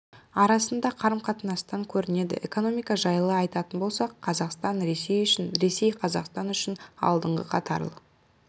арасындағы қарым-қатынастан көрінеді экономика жайлы айтатын болсақ қазақстан ресей үшін ресей қазақстан үшін алдыңғы қатарлы